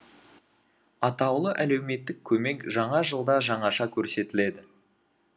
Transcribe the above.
атаулы әлеуметтік көмек жаңа жылда жаңаша көрсетіледі